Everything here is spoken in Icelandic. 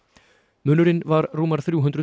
munurinn var rúmar þrjú hundruð